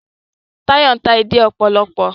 Tayo n'ta èdè òpòlopò